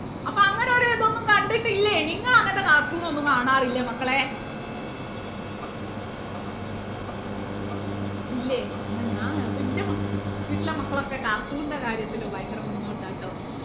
അപ്പൊ അങ്ങനെ ഒരു ഇതൊന്നും കണ്ടിട്ടില്ലേ നിങ്ങൾ അങ്ങനത്തെ cartoon ഒന്നും കാണാറില്ലേ മക്കളേ ഇല്ലേ ന്നാ ഞാൻ കാ എന്റെ മക്ക വീട്ടിലെ മക്കളൊക്കെ cartoon ന്റെ കാര്യത്തിൽ ഭയങ്കര മുന്നോട്ടാട്ടോ